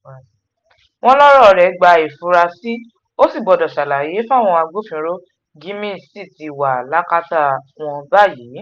wọ́n lọ̀rọ̀ rẹ̀ gba ìfura ó sì gbọ́dọ̀ ṣàlàyé fáwọn agbófinró gímí sì ti wà lákàtà wọn báyìí